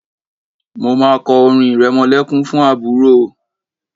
Mo máa kọ orin ìrẹmọlẹ́kún fún àbúrò.